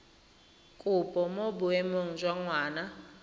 kopo mo boemong jwa ngwana